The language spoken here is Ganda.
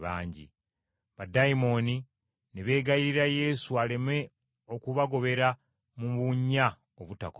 Baddayimooni ne beegayirira Yesu aleme okubagobera mu bunnya obutakoma.